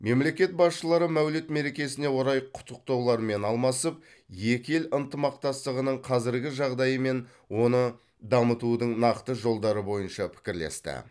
мемлекет басшылары мәуліт мерекесіне орай құттықтаулармен алмасып екі ел ынтымақтастығының қазіргі жағдайы мен оны дамытудың нақты жолдары бойынша пікірлесті